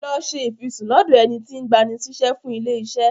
Lọ ṣe ìfisùn lọ́dọ̀ ẹni tí ń gbani síṣẹ́ fún ilé-iṣẹ́.